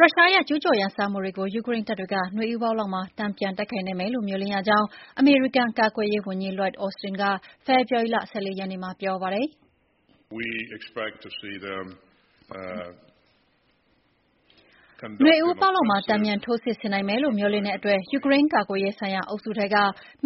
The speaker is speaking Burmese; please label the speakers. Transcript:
Speaker 1: ရုရှားရဲ့ကျူးကျော်ရန်စမှုတွေကို ယူကရိန်းတပ်တွေက နွေဦးပေါက်လောက်မှာ တန်ပြန်တိုက်ခိုက်နိုင်မယ်လို့ မျှော်လင့်ရကြောင်း အမေရိကန်ကာကွယ်ရေးဝန်ကြီး Lloyd Austin က ဖေဖော်ဝါရီလ ၁၄ ရက်နေ့မှာ ပြောပါတယ်။
Speaker 2: “နွေဦးပေါက
Speaker 1: ်မှာ တန်ပြန်ထိုးစစ်ဆင်နိုင်မယ်လို့ မျှော်လင့်တဲ့အတွက် ယူကရိန်း ကာကွယ်ရေး ဆိုင်ရာ အုပ်စုထဲက